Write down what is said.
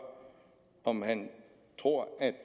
om han tror at